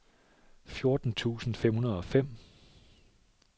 fjorten tusind fem hundrede og fem